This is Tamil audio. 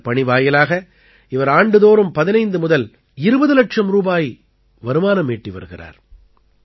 இந்தப் பணி வாயிலாக இவர் ஆண்டுதோறும் 15 முதல் 20 இலட்சம் ரூபாய் வருமானம் ஈட்டி வருகிறார்